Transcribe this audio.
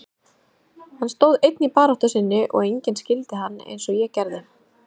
Hann stóð einn í baráttu sinni og enginn skildi hann eins og ég gerði.